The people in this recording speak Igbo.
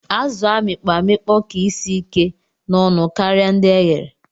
Azu amikpọ amikpọ ka isi ike na ọnụ karia ndi eghere.